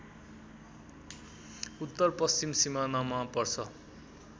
उत्तरपश्चिम सिमानामा पर्छ